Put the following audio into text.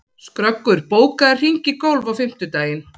Skröggur, bókaðu hring í golf á fimmtudaginn.